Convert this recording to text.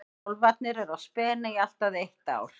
Kálfarnir eru á spena í allt að eitt ár.